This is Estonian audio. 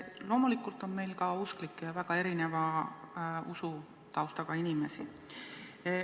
Loomulikult on meil ka usklikke ja väga erineva usutaustaga inimesi.